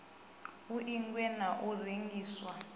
u ingwa na u rengiswa